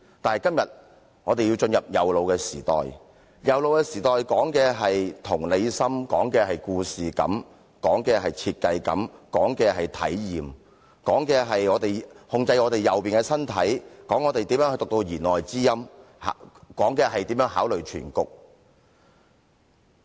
但今天我們要進入右腦的時代，而右腦時代講求同理心、故事感、設計感和體驗，關乎如何控制我們左邊的身體、領會弦外之音和考慮全局。